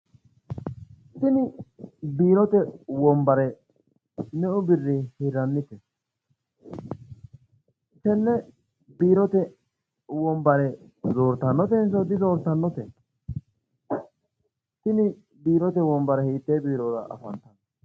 Tini biirote wonbare meu birrinni hirrannite? tene biirote wonbare zoorttannotensso dizoorttannote? tini biirote wonbbare hiitee biirora afanttannote?